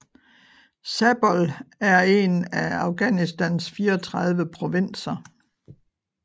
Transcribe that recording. Zabol er en af Afghanistans 34 provinser